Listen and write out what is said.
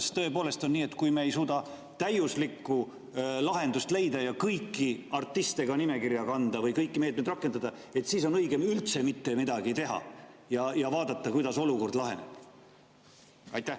Kas tõepoolest on nii, et kui me ei suuda täiuslikku lahendust leida ja kõiki artiste nimekirja kanda või kõiki meetmeid rakendada, siis on õigem üldse mitte midagi teha ja vaadata, kuidas olukord laheneb?